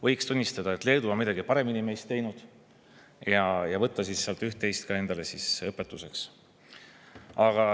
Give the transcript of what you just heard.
Võiks tunnistada, et Leedu on midagi meist paremini teinud, ja võtta sealt üht-teist endale õpetuseks.